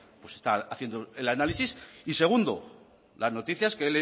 pues está haciendo el análisis y segundo las noticias que